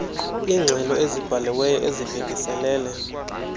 iingxelo ezibhaliweyo ezibhekiselele